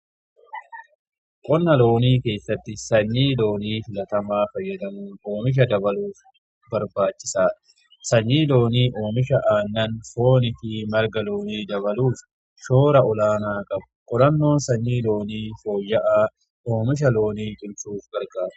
qonna loonii keessatti sanyii loonii filatamaa fayyadamun oomisha dabaluuf barbaachisaadha. sanyii loonii oomisha aannanii, foonii fi marga loonii dabaluuf shoora olaanaa qabu. qorannoon sanyii loonii foyya'aa oomisha loonii cimsuuf gargaara.